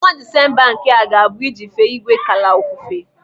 Ọnwa Disemba nke a ga-abụ iji fee Igwekala ofufe.